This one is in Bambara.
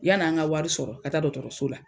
Yann'an ka wari sɔrɔ ka taa dɔKɔtɔrɔso la.